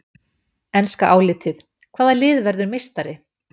Enska álitið: Hvaða lið verður meistari?